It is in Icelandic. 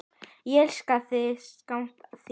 Ég elska þig, sakna þín.